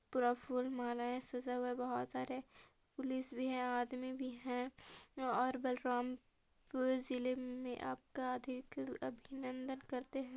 पूरा फुल मलाऐ सजा हुआ है बहोत सारे पुलिस भी है आदमी भी है और बलराम पुर जिले में आपका अधिक अभिनंदन करते है।